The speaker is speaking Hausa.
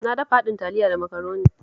Na dafa haɗin Taliya da Makaroni